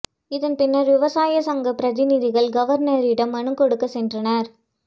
இதன் பின்னர் விவசாய சங்க பிரதிநிதிகள் கவர்னரிடம் மனு கொடுக்க சென்றனர்